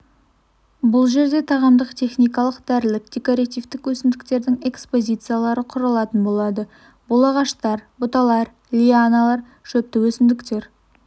бұл жерде тағамдық техникалық дәрілік декоративтік өсімдіктердің экспозициялары құрылатын болады бұл ағаштар бұталар лианалар шөпті өсімдіктер